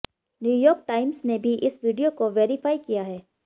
New York Times ने भी इस वीडियो को वैरिफाई किया है